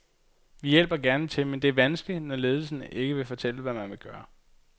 Vi hjælper gerne til, men det er vanskeligt, når ledelsen ikke vil fortælle, hvad man vil gøre.